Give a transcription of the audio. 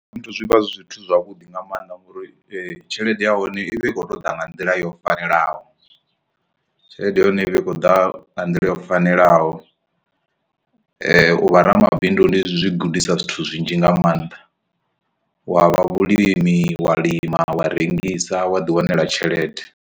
Zwithu zwi vha zwi zwithu zwavhuḓi nga maanḓa ngori tshelede ya hone i vha i khou ṱoḓa nga nḓila yo fanelaho tshelede ya hone ivha i kho ḓa nga nḓila yo fanelaho, u vha ramabindu ndi zwi gudisa zwithu zwinzhi nga maanḓa wa vhulimi wa lima wa rengisa wa ḓi wanela tshelede.